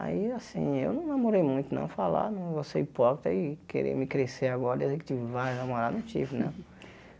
Aí, assim, eu não namorei muito, não falar, não vou ser hipócrita e querer me crescer agora e dizer que tive vários namoradas, não tive, não.